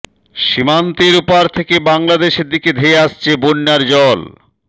সীমান্তের ওপার থেকে বাংলাদেশের দিকে ধেয়ে আসছে বন্যার জল